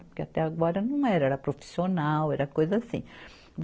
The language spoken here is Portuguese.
Porque até agora não era, era profissional, era coisa assim.